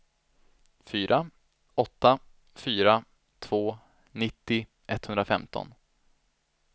fyra åtta fyra två nittio etthundrafemton